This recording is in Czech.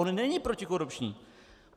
On není protikorupční.